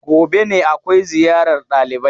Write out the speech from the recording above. Gobe ne akwai ziyarar ɗalibai.